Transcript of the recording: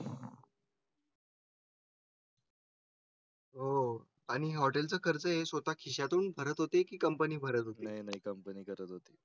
हो हो आणि होटल चा खर्च हे स्वतः खिशा तून भरत होते की कंपनी भरत. नाही कंपनी करत होती